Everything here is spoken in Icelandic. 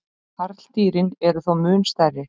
karldýrin eru þó mun stærri